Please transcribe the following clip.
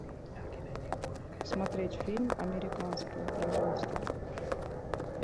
смотреть фильм американского производства